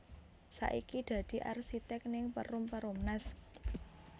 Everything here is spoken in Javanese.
Saiki dadi arsitek ning Perum Perumnas